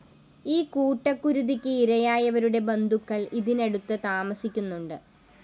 ഈ കൂട്ടക്കുരുതിക്ക്‌ ഇരയായവരുടെ ബന്ധുക്കള്‍ ഇതിനടുത്ത്‌ താമസിക്കുന്നുണ്ട്‌